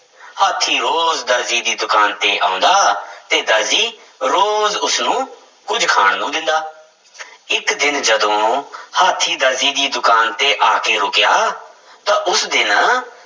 ਹਾਥੀ ਰੋਜ਼ ਦਰਜੀ ਦੀ ਦੁਕਾਨ ਤੇ ਆਉਂਦਾ ਤੇ ਦਰਜੀ ਰੋਜ਼ ਉਸਨੂੰ ਕੁੱਝ ਖਾਣ ਨੂੰ ਦਿੰਦਾ ਇੱਕ ਦਿਨ ਜਦੋਂ ਹਾਥੀਂ ਦਰਜੀ ਦੀ ਦੁਕਾਨ ਤੇ ਆ ਕੇ ਰੁੱਕਿਆ ਤਾਂ ਉਸ ਦਿਨ